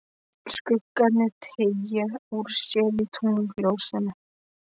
Skuggarnir teygja úr sér í tunglsljósinu.